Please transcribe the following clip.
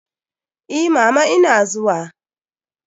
Eh, mama ina zuwa.